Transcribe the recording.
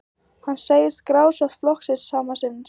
Hann segir grasrót flokksins sama sinnis